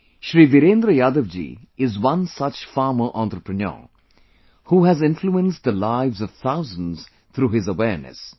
Shri Virendra Yadav ji is one such farmer entrepreneur, who has influenced the lives of thousands through his awareness